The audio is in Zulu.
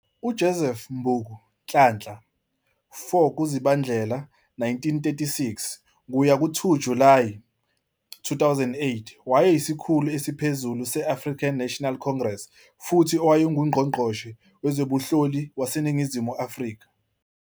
UJoseph Mbuku Nhlanhla, 4 kuZibandlela 1936 - 2 Julayi 2008, wayeyisikhulu esiphezulu se-African National Congress futhi owayenguNgqongqoshe Wezobunhloli waseNingizimu Afrika.